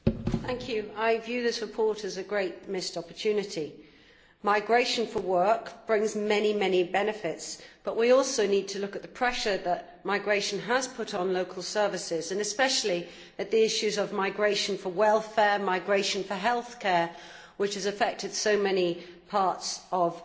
Mr President, I view this report as a great missed opportunity. Migration for work brings many benefits, but we also need to look at the pressure that migration has put on local services, and especially at the issue of migration for welfare and healthcare, which has affected so many parts of